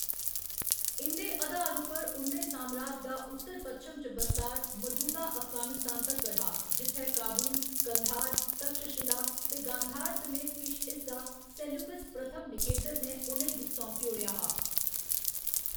इं'दे अधार उप्पर, उं'दे सामराज दा उत्तर पच्छम च बस्तार मजूदा अफगानिस्तान तक्कर हा जित्थै काबुल, कंधार, तक्षशिला ते गांधार समेत किश हिस्सा सेल्यूकस पैह्‌लें निकेटर ने उ'नें गी सौंपी ओड़ेआ हा।